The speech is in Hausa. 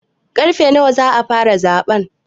Karfe nawa za a fara zaɓe?